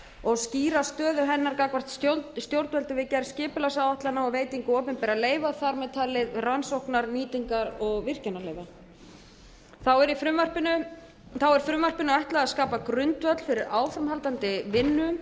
og skýra stöðu hennar gagnvart stjórnvöldum við gerð skipulagsáætlana og veitingu opinberra leyfa þar með talin rannsóknar nýtingar og virkjunarleyfa þá er frumvarpinu ætlað að skapa grundvöll fyrir áframhaldandi vinnu